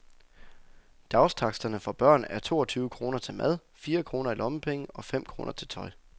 Dagstaksterne for børn er toogtyve kroner til mad, fire kroner i lommepenge og fem kroner til tøj.